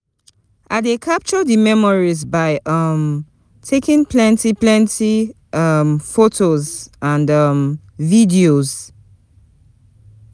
I dey capture di memories by um taking plenty plenty um photos and um videos.